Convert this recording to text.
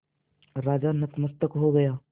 राजा नतमस्तक हो गया